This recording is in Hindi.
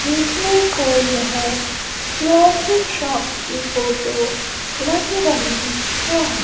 देखने को यह ज्वेलरी शॉप की फोटो लग रही है।